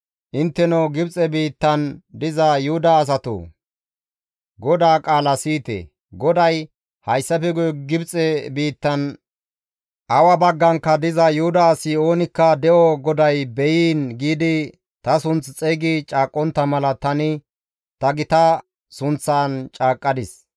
Intteno Gibxe biittan diza Yuhuda asatoo! GODAA qaala siyite! GODAY, ‹Hayssafe guye Gibxe biittan awa baggankka diza Yuhuda asi oonikka de7o GODAY be7iin!› giidi ta sunth xeygi caaqqontta mala tani ta gita sunththan caaqqadis.